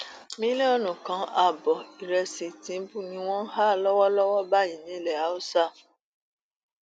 mílíọnù kan ààbọ ìrẹsì tìǹbù ni wọn ń há lọwọlọwọ báyìí nílẹ haúsá